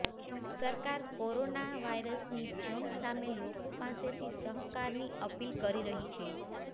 સરકાર કોરોના વાયરસની જંગ સામે લોકો પાસેથી સહકારની અપીલ કરી રહી છે